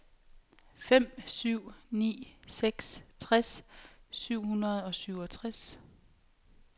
fem syv ni seks tres syv hundrede og syvogtres